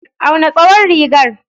Auna tsawon rigar.